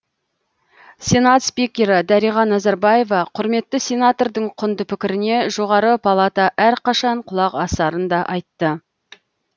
сенат спикері дариға назарбаева құрметті сенатордың құнды пікіріне жоғары палата әрқашан құлақ асарын да айтты